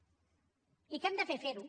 i què hem de fer ferho